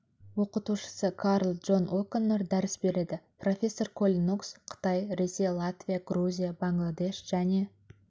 оқытушысы карл джон оконнор дәріс береді профессор колин нокс қытай ресей латвия грузия бангладеш және